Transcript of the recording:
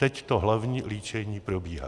Teď to hlavní líčení probíhá.